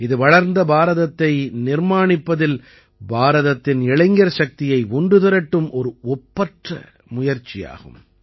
இது வளர்ந்த பாரதத்தை நிர்மாணிப்பதில் பாரதத்தின் இளைஞர் சக்தியை ஒன்று திரட்டும் ஒரு ஒப்பற்ற முயற்சியாகும்